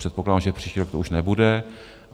Předpokládám, že příští rok to už nebude.